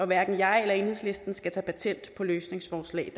hverken jeg eller enhedslisten skal tage patent på løsningsforslag